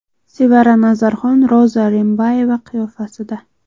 Sevara Nazarxon Roza Rimbayeva qiyofasida.